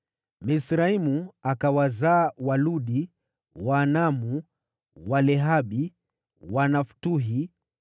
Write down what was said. Misraimu akawazaa: Waludi, Waanami, Walehabi, Wanaftuhi,